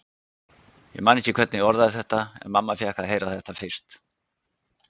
Ég man ekki hvernig ég orðaði þetta, en mamma fékk að heyra þetta fyrst.